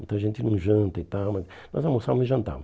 Muita gente não janta e tal, mas nós almoçávamos e jantávamos.